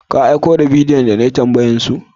Ka aiko da bidiyoyin da na yi tambayan su?